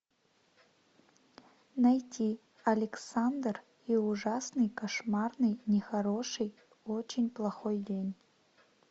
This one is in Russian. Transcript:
найти александр и ужасный кошмарный нехороший очень плохой день